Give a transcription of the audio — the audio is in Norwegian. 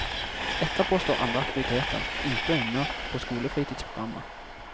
Etterpå står andre aktiviteter, ute og inne, på skolefritidsprogrammet.